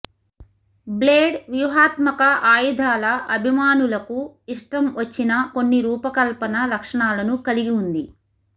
blade వ్యూహాత్మక ఆయుధాల అభిమానులకు ఇష్టం వచ్చిన కొన్ని రూపకల్పన లక్షణాలను కలిగి ఉంది